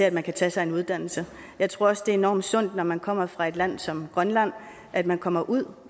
at man kan tage sig en uddannelse jeg tror også det er enormt sundt når man kommer fra et land som grønland at man kommer ud